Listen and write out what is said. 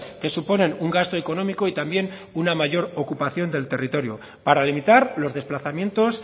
que suponen un gasto económico y también una mayor ocupación del territorio para limitar los desplazamientos